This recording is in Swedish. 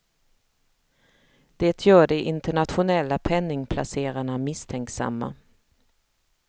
Det gör de internationella penningplacerarna misstänksamma.